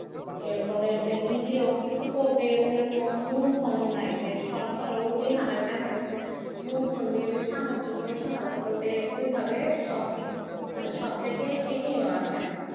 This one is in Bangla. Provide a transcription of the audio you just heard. এরপরে যে নিজেও কিছু করবে নাই যে সরকার ওই হারে যে দেখা গেছে ধন দিয়ে যে সাহায্য করবে সহায়তা করবে ওইভাবে সব মানে সব জায়গায় এগিয়ে আসে না।